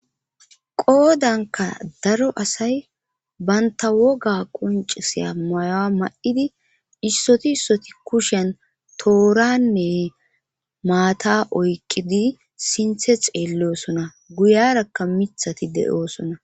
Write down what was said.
qoodanka daro asay banta woga quncisiya mayoa ma7idi issoti issoti kusheen tooranne maata oyqidi sinthe xeelloosona guyarakka mithati de7oosona